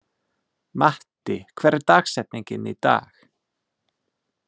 Matti, hver er dagsetningin í dag?